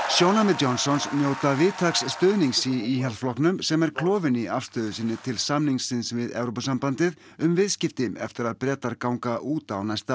sjónarmið Johnsons njóta víðtæks stuðnings í Íhaldsflokknum sem er klofinn í afstöðu sinni til samningsins við Evrópusambandið um viðskipti eftir að Breta ganga út á næsta